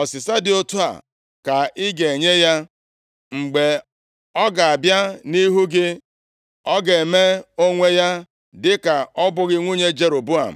ọsịsa dị otu a ka i ganye ya. Mgbe ọ ga-abịa ịhụ gị ọ ga-eme onwe ya dịka ọ bụghị nwunye Jeroboam.”